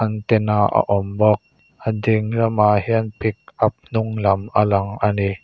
antena a awm bawk a ding lamah hian pick up hnung lam a lang ani.